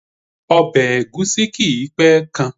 Obè ègúsí kìí pé kan